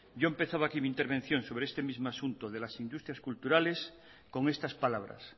yo empezaba aquí mi intervención sobre este mismo asunto de las industrias culturales con estas palabras